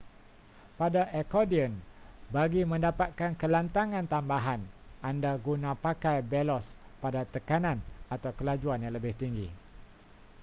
pada akordion bagi mendapatkan kelantangan tambahan anda guna pakai belos pada tekanan atau kelajuan yang lebih tinggi